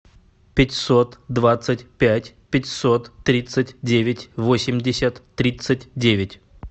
пятьсот двадцать пять пятьсот тридцать девять восемьдесят тридцать девять